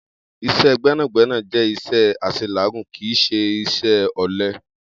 Is̩é̩ gbé̩nàgbé̩nà jé̩ is̩é̩ às̩elàágùn, kì í s̩e is̩é̩ ò̩le̩.